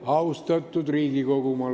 Austatud Riigikogu!